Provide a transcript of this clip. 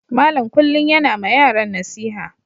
Malam kullum yana ma yaran nasiha.